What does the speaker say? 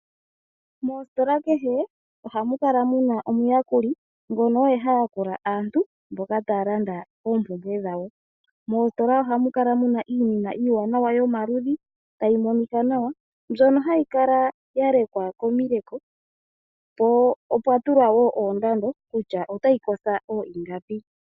Moositola kehe ohamu kala muna omuyakuli ngono oye hayakula aantu mboka taya landa oompumbwe dhawo. Moositola ohamu kala muna iinima iiwanawa yomaludhi tayi monika nawa mbyono hayi kala yalekwa komileko po opwa tulwa wo oondando kutya otayi kosho oohingapi.